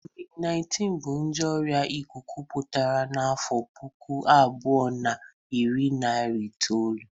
Kovid-19 bụ nje ọrïa ịkụkụ pụtara n'afụ puku abụọ na iri na itolu.